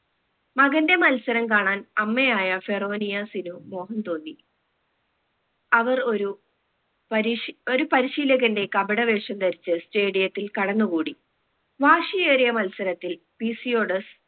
മകന്റെ മത്സരം കാണാൻ അമ്മയായ ഫെറോനിയസിനും മോഹം തോന്നി അവർ ഒരു പരിശി ഒരു പരിശീലകന്റെ കപട വേഷം ധരിച് stadium ത്തിൽ കടന്ന് കൂടി വാശിയേറിയ മത്സരത്തിൽ പീസിയോഡസ്